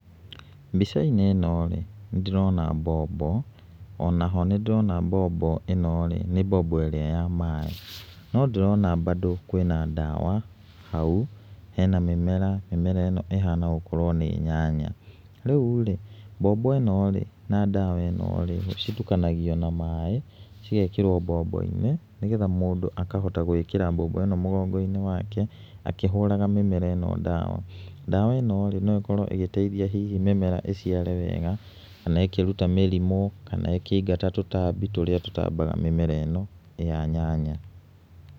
Mbica-inĩ ĩno rĩ, nĩ ndĩrona mbombo, ona ho nĩ ndĩrona mbombo ĩno rĩ nĩ mbombo ĩrĩa ya maĩ, no ndĩrona mbandũ kwĩna ndawa hau, hena mĩmera, mĩmera ĩno ĩhana gũkorwo nĩ nyanya. Rĩu rĩ, mbombo ĩno rĩ, na ndawa ĩno rĩ, citukanagio na maĩ cigekĩrwo mbombo-inĩ nĩ getha mũndũ akahota gwĩkĩra mbombo ĩno mũgongo-inĩ wake, akĩhũraga mĩmera ĩno ndawa. Ndawa ĩno rĩ no ĩkorwo ĩgĩteithĩrĩria hihi mĩmera ĩciare wega, kana ĩkĩruta mĩrimũ kana ĩkĩingata tũtambi tũrĩa tũtambaga mĩmera ĩno ya nyanya.